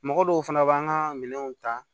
Mɔgɔ dɔw fana b'an ka minɛnw ta